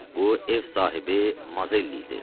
Bu ev sahibi Mazelli idi.